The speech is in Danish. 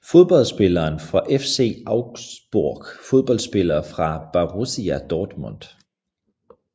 Fodboldspillere fra FC Augsburg Fodboldspillere fra Borussia Dortmund